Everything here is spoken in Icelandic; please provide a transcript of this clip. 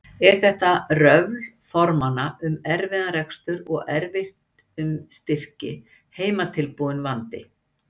Er þetta röfl formanna um erfiðan rekstur og erfitt um styrki, heimatilbúinn vandi?